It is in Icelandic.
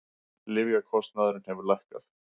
Lyfjakostnaður hefur lækkað